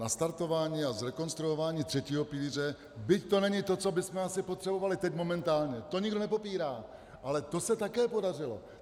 Nastartování a zrekonstruování třetího pilíře, byť to není to, co bychom asi potřebovali teď momentálně, to nikdo nepopírá, ale to se také podařilo.